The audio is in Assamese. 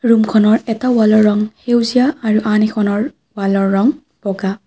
ৰূমখনৰ এটা ৱালৰ ৰং সেউজীয়া আৰু আন এখনৰ ৱালৰ ৰং বগা।